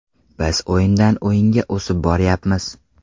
Biz o‘yindan o‘yinga o‘sib boryapmiz.